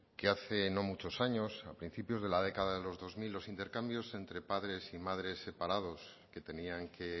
que hace no muchos años a principios de la década de los dos mil los intercambios entre padres y madres separados que tenían que